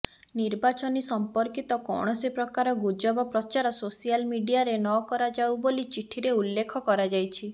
ନିର୍ବାଚନୀ ସଂପର୍କିତ କୌଣସି ପ୍ରକାର ଗୁଜବ ପ୍ରଚାର ସୋସିଆଲ ମିଡିଆରେ ନକରାଯାଉ ବୋଲି ଚିଠିରେ ଉଲ୍ଲେଖ କରାଯାଇଛି